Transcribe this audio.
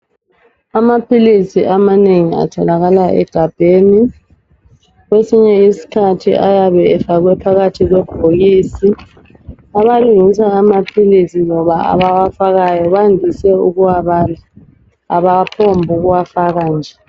Amaphilisi amanengi atholakala egabheni kwesinye isikhathi ayabe efakwe phakathi kwebhokisi abalungisa amaphilisi abawafakayo bandise ukuwabala abaphonguwafaka nje.